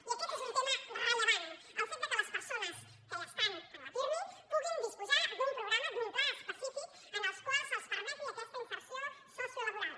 i aquest és un tema rellevant el fet que les persones que ja estan al pirmi puguin disposar d’un programa d’un pla específic en el qual se’ls permeti aquesta inserció sociolaboral